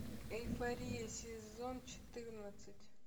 эйфория сезон четырнадцать